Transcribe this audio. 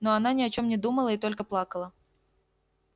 но она ни о чем не думала и только плакала